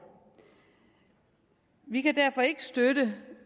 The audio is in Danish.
vi kan derfor ikke støtte